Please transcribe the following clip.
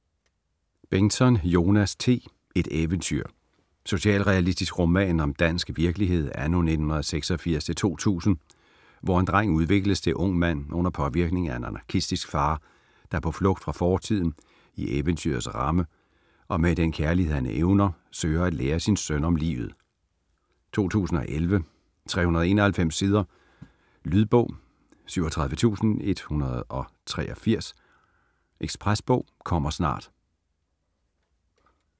Bengtsson, Jonas T.: Et eventyr Socialrealistisk roman om dansk virkelighed anno 1986-2000, hvor en dreng udvikles til ung mand under påvirkning af en anarkistisk far, der på flugt fra fortiden, i eventyrets ramme, og med den kærlighed han evner, søger at lære sin søn om livet. 2011, 391 sider. Lydbog 37183 Ekspresbog - kommer snart